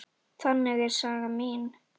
Þannig er saga mín.